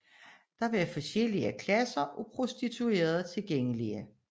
Der var forskellige klasser af prostituerede tilgængelige